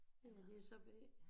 Ja jeg er så B